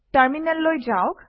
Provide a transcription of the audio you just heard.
টাৰমিনেললৈ যাওক